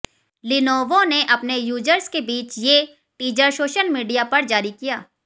Lenovo ने अपने users के बीच ये टीजर सोशल मीडिया पर जारी किया